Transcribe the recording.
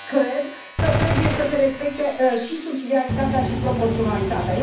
și mai cred că trebuie să se respecte și subsidiaritatea și proporționalitatea.